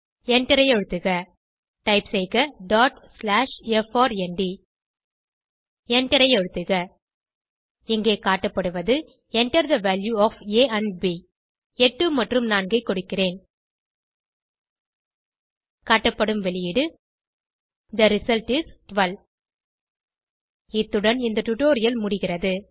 எண்டரை அழுத்துக டைப் செய்க டாட் ஸ்லாஷ் எப்ஆர்என்டி எண்டரை அழுத்துக இங்கே காட்டப்படுவது Enter the value of a and b 8 மற்றும் 4 ஐ கொடுக்கிறேன் காட்டப்படும் வெளியீடு தே ரிசல்ட் is 12 இத்துடன் இந்த டுடோரியல் முடிகிறது